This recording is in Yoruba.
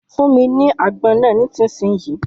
Fún mi ni àgbọn náà nísinsìnyí.